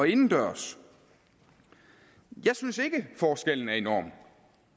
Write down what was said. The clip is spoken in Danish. indendørs jeg synes ikke at forskellen er enorm